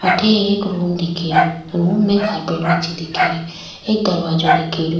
अठे एक रूम दिख रो रूम में कार्पेट बिछी दिख रि एक दरवाजो दिख रो।